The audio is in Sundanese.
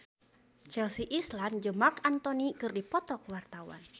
Chelsea Islan jeung Marc Anthony keur dipoto ku wartawan